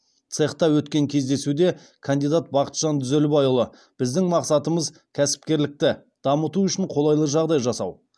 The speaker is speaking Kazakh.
цехта өткен кездесуде кандидат бақытжан дүзелбайұлы біздің мақсатымыз кәсіпкерлікті дамыту үшін қолайлы жағдай жасау